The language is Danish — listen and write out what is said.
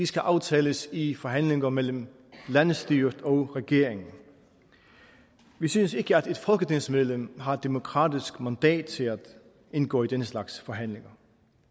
skal aftales i forhandlinger mellem landsstyret og regeringen vi synes ikke at et folketingsmedlem har demokratisk mandat til at indgå i den slags forhandlinger